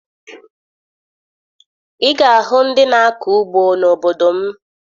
Ị ga-ahụ ndị na-akọ ugbo n'obodo m